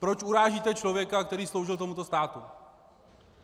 Proč urážíte člověka, který sloužil tomuto státu?